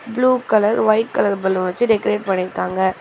Blue colour white colour பலூன வெச்சு decorate பண்ணிருக்காங்க.